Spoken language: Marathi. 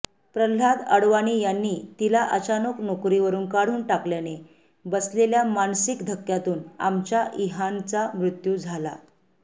प्रल्हाद अडवाणी यांनी तिला अचानक नोकरीवरुन काढून टाकल्याने बसलेल्या मानसिक धक्क्यातून आमच्या इहानचा मृत्यू झाला